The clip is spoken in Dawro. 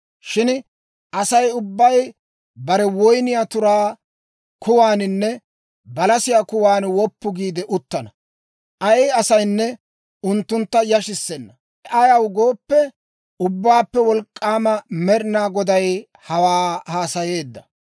Shin Asay ubbay bare woyniyaa turaa kuwaaninne balasiyaa kuwan woppu giide uttana; ay asaynne unttuntta yashissenna. Ayaw gooppe, Ubbaappe Wolk'k'aama Med'ina Goday hawaa haasayeedda.